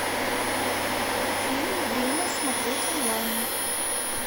фильм время смотреть онлайн